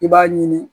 I b'a ɲini